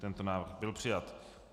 Tento návrh byl přijat.